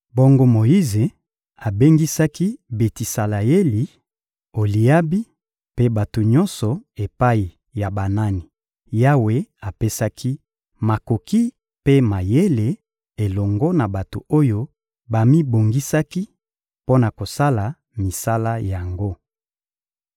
Bongo Moyize abengisaki Betisaleyeli, Oliabi mpe bato nyonso epai ya banani Yawe apesaki makoki mpe mayele elongo na bato oyo bamibongisaki mpo na kosala misala yango.